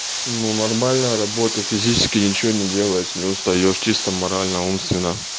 ну нормально работа физически ничего не делаешь не устаёшь чистом морально умственно